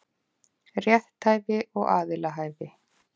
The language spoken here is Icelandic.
Rétthæfi og aðilahæfi.